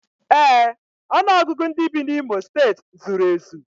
Ee, ọnụọgụgụ ndị bi n'Imo steeti zuru ezu